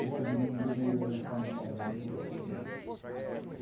Olhe não demorou, elas estavam fazendo calcinha.